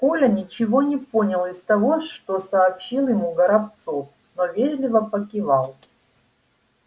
коля ничего не понял из того что сообщил ему горобцов но вежливо покивал